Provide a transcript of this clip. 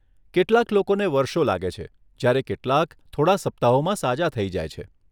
કેટલાક લોકોને વર્ષો લાગે છે જ્યારે કેટલાક થોડા સપ્તાહોમાં સાજા થઈ જાય છે.